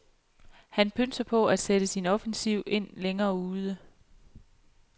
Han pønser på at sætte sin offensiv ind længere ude.